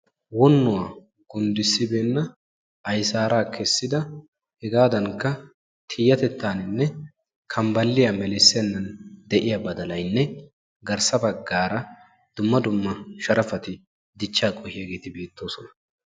wonnuwaa gunddisibeenna ayssara kessida hegaadankka tiyatettaanne kambbaliya melisibeenna de'iya baddalaynne garssa bagaara dumma dumma sharafati dichaa koyiyaageeti de'oosona..